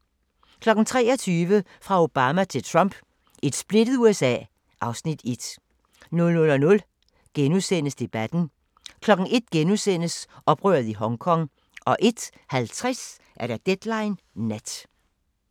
23:00: Fra Obama til Trump: Et splittet USA (Afs. 1) 00:00: Debatten * 01:00: Oprøret i Hongkong * 01:50: Deadline Nat